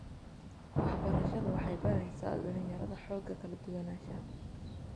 Waxbarashadu waxay baraysaa dhalinyarada xoogga kala duwanaanshaha.